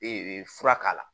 fura k'a la